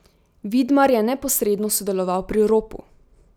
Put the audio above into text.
Vidmar je neposredno sodeloval pri ropu.